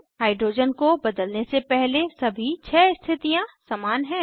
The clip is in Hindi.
हाइड्रोजन को बदलने से पहले सभी छः स्थितियां समान हैं